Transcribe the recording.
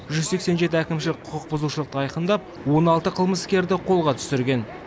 жүз сексен жеті әкімшілік құқық бұзушылықты айқындап он алты қылмыскерді қолға түсірген